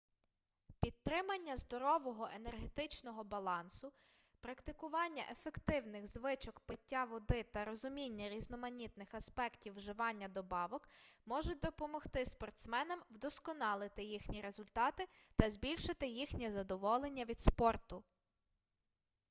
підтримання здорового енергетичного балансу практикування ефективних звичок пиття води та розуміння різноманітних аспектів вживання добавок можуть допомогти спортсменам вдосконалити їхні результати та збільшити їхнє задоволення від спорту